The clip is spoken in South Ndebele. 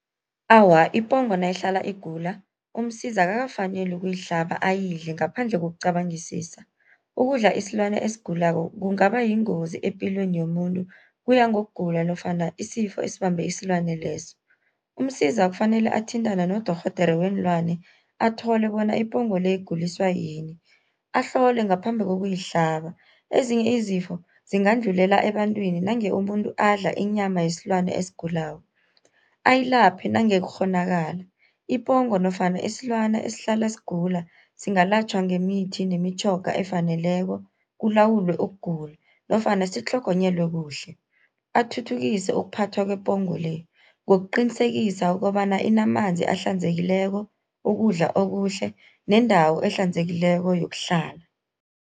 Awa, ipongo nayihlala igula uMsiza akakafaneli ukuyihlaba ayidle ngaphandle kokucabangisisa. Ukudla isilwana esigulako kungaba yingozi epilweni yomuntu, kuya ngokugula nofana isifo esibambe isilwana leso. UMsiza kufanele athintane nodorhodere weenlwana, athole bona ipongo le iguliswa yini, ahlole ngaphambi kokuyihlaba. Ezinye izifo zingadlulela ebantwini nange umuntu adla inyama yesilwana esigulako. Ayilaphe nange kukghonakala, ipongo nofana isilwana esihlala sigula, singalatjhwa ngemithi nemitjhoga efaneleko kulawulwe ukugula nofana sitlhogonyelwe kuhle. Athuthukise ukuphathwa kwepongo le, ngokuqinisekisa ukobana inamanzi ahlanzekileko, ukudla okuhle nendawo ehlanzekileko yokuhlala.